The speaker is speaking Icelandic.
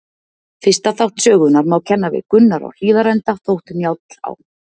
Fyrsta þátt sögunnar má kenna við Gunnar á Hlíðarenda, þótt Njáll á